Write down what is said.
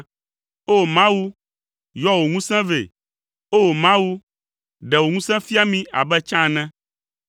O! Mawu, yɔ wò ŋusẽ vɛ; O! Mawu, ɖe wò ŋusẽ fia mí abe tsã ene.